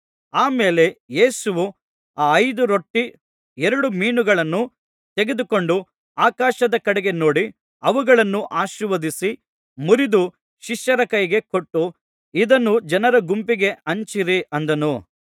ಆ ಮೇಲೆ ಯೇಸುವು ಆ ಐದು ರೊಟ್ಟಿ ಎರಡು ಮೀನುಗಳನ್ನು ತೆಗೆದುಕೊಂಡು ಆಕಾಶದ ಕಡೆಗೆ ನೋಡಿ ಅವುಗಳನ್ನು ಆಶೀರ್ವದಿಸಿ ಮುರಿದು ಶಿಷ್ಯರ ಕೈಗೆ ಕೊಟ್ಟು ಇದನ್ನು ಜನರ ಗುಂಪಿಗೆ ಹಂಚಿರಿ ಅಂದನು